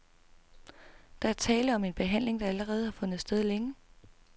Der er tale om en behandling, der allerede har fundet sted længe.